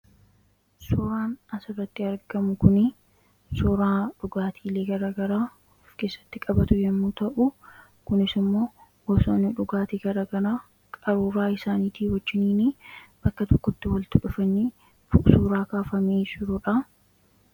Suuraan asirratti argamu kun suuraa dhugaatiilee garaa garaa of keessatti qabatu yemmuu ta'u, kunis immoo gosoonni dhugaatii garaa garaa qaruuraa isaaniitiin wajjin bakka tokkotti walitti dhufanii suuraa kaafamee jiruudha.